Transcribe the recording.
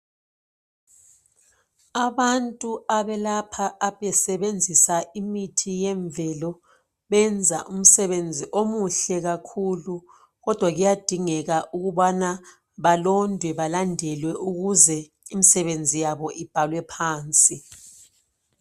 Abantu abelapha besebenzisa imithi yemvelo benza umsebenzi omuhle kakhulu kodwa kuyadingeka ukubana balondwe balandelwe ukuze imisebenzi yabo ibhalwe phansi